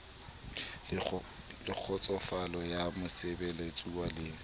le kgotsofalo ya mosebeletsuwa le